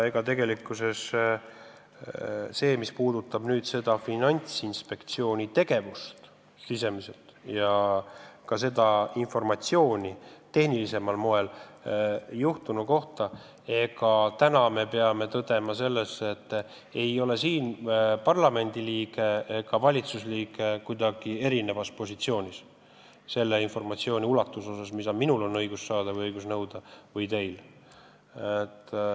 Mis puudutab Finantsinspektsiooni sisemist tegevust ja ka tehnilisemat laadi informatsiooni juhtunu kohta, siis tuleb tõdeda, et ega parlamendiliige või valitsusliige ei ole selles osas kuidagi eelispositsioonis, et võib nõuda või saada rohkem informatsiooni.